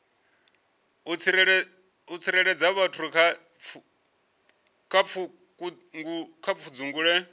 u tsireledza vhathu kha pfudzungule